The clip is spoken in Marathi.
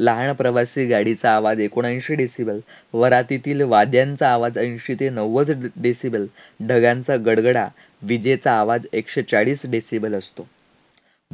लहान प्रवासी गाडीचा आवाज एकोणएंशी decibel, वरातीतील वाद्यांचा आवाज एंशी ते नव्वद decibel, ढगांचा गडगडाट, विजेचा आवाज एकशे चाळीस decibel असतो.